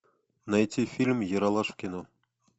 найти фильм ералаш в кино